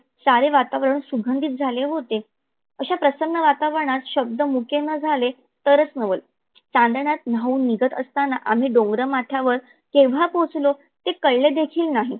सारे वातावरण सुगंधी झाले होते. अशा प्रसन्न वातवरनात शब्द मुके न झाले तरच नवल चांदण्यात न्हाहून निघत असताना आम्ही डोंगर माथ्यावर कधी पोहचलो हे कळले देखील नाही.